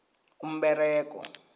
umberego